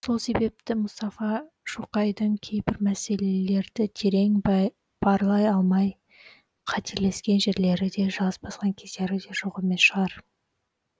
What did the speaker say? сол себепті мұстафа шоқайдың кейбір мәселелерді терең барлай алмай қателескен жерлері де шалыс басқан кездері жоқ емес шығар